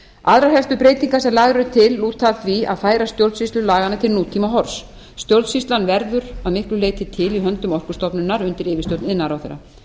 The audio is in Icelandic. aðrar helstu breytingar sem lagðar eru til lúta að því að færa stjórnsýslu laganna til nútímahorfs stjórnsýslan verður að miklu leyti til í höndum orkustofnunar undir yfirstjórn iðnaðarráðherra